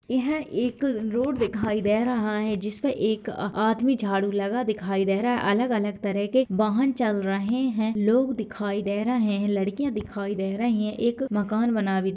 यहाँ एक रोड दिखाई दे रहा है जिसमें एक आदमी झाड़ू लगा दिखाई दे रहा है अलग-अलग तरह के वाहन चल रहे हैं लोग दिखाई दे रहे हैं लड़कियाँ दिखाई दे रही हैं एक मकान बना भी --